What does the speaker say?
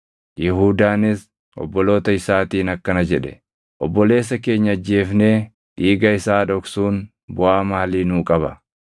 Yihuudaanis obboloota isaatiin akkana jedhe; “Obboleessa keenya ajjeefnee dhiiga isaa dhoksuun buʼaa maalii nuu qaba?